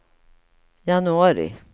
januari